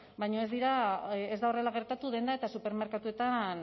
baina ez da horrela gertatu denda eta supermerkatuetan